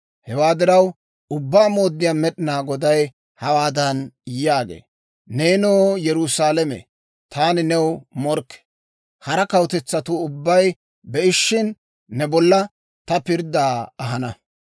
Hewaa diraw, Ubbaa Mooddiyaa Med'inaa Goday hawaadan yaagee; «Neenoo, Yerusaalame, taani new morkke; hara kawutetsatuu ubbay be'ishina, ne bolla ta pirddaa ahana.